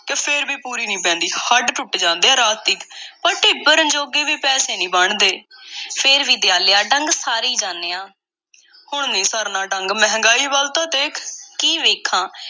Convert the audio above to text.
ਕਿ ਫੇਰ ਵੀ ਪੂਰੀ ਨਹੀਂ ਪੈਂਦੀ। ਹੱਡ ਟੁੱਟ ਜਾਂਦੇ ਐ ਰਾਤ ਤੀਕ, ਪਰ ਢਿੱਡ ਭਰਨ ਜੋਗੇ ਪੈਸੇ ਨਹੀਂ ਬਣਦੇ। ਫੇਰ ਵੀ, ਦਿਆਲਿਆ, ਡੰਗ ਸਾਰੀ ਈ ਜਾਨੇ ਆਂ। ਹੁਣ ਨਹੀਂ ਸਰਨਾ ਡੰਗ, ਮਹਿੰਗਾਈ ਵੱਲ ਤਾਂ ਦੇਖ। ਕੀ ਵੇਖਾਂ?